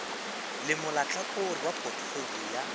le molahlakore wa photofolio ya